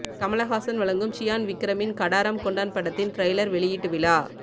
கமல்ஹாசன் வழங்கும் சியான் விக்ரமின் கடாரம் கொண்டான் படத்தின் ட்ரைலர் வெளியிட்டு விழா